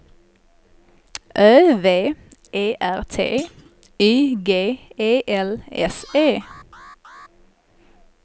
Ö V E R T Y G E L S E